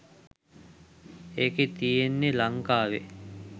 ඒකෙ තියෙන්නෙ ලංකාවෙ